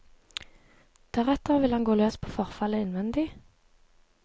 Deretter vil han gå løs på forfallet innvendig.